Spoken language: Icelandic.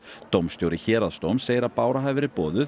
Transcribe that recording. dómstjóri Héraðsdóms segir að Bára hafi verið boðuð